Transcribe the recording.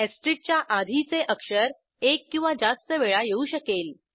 च्या आधीचे अक्षर एक किंवा जास्त वेळा येऊ शकेल